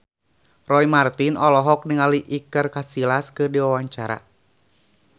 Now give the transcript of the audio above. Roy Marten olohok ningali Iker Casillas keur diwawancara